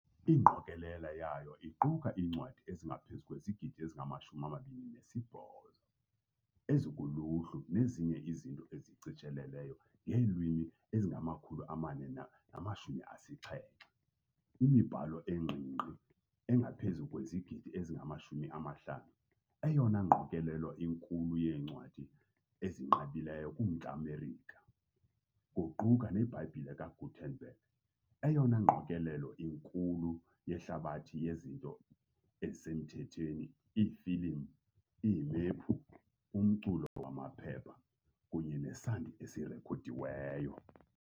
Ingqokelela yayo iquka iincwadi ezingaphezu kwezigidi ezingama-28 ezikuluhlu nezinye izinto ezishicilelweyo ngeelwimi ezingama-470, imibhalo engqingqi engaphezu kwezigidi ezingama-50, eyona ngqokelela inkulu yeencwadi ezinqabileyo kuMntla Merika, kuquka neBhayibhile kaGutenberg, eyona ngqokelela inkulu yehlabathi yezinto ezisemthethweni, iifilimu, iimephu, umculo wamaphepha kunye nesandi esirekhodiweyo.